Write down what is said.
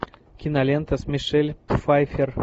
кинолента с мишель пфайффер